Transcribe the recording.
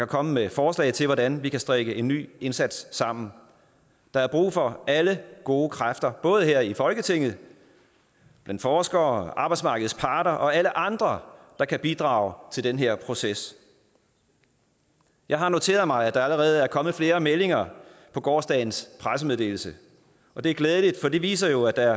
komme med forslag til hvordan vi kan strikke en ny indsats sammen der er brug for alle gode kræfter både her i folketinget blandt forskere arbejdsmarkedets parter og alle andre der kan bidrage til den her proces jeg har noteret mig at der allerede er kommet flere meldinger på gårsdagens pressemeddelelse og det er glædeligt for det viser jo at der